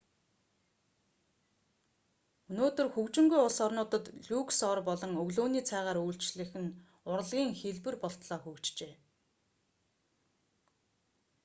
өнөөдөр хөгжингүй улс орнуудад люкс ор болон өглөөний цайгаар үйлчлэх нь урлагийн хэлбэр болтлоо хөгжжээ